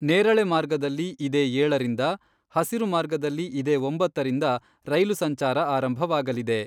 ನೇರಳೆ ಮಾರ್ಗದಲ್ಲಿ ಇದೇ ಏಳರಿಂದ ಹಸಿರು ಮಾರ್ಗದಲ್ಲಿ ಇದೇ ಒಂಬತ್ತರಿಂದ ರೈಲು ಸಂಚಾರ ಆರಂಭವಾಗಲಿದೆ.